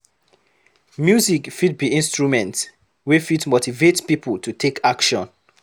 Music fit be instrument wey fit motivate pipo to take action